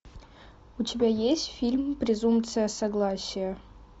у тебя есть фильм презумпция согласия